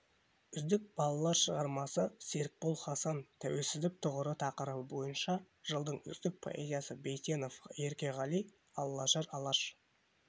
үздік балалар шығармасы серікбол хасан тәуелсіздік тұғыры тақырыбы бойынша жылдың үздік поэзиясы бейсенов еркеғали аллажар алаш